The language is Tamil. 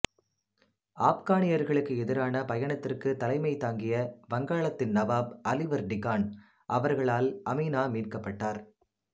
ஆப்கானியர்களுக்கு எதிரான பயணத்திற்கு தலைமை தாங்கிய வங்காளத்தின் நவாப் அலிவர்டி கான் அவர்களால் அமினா மீட்கப்பட்டார்